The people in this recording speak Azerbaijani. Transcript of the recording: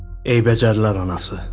Ey bəcərlər anası!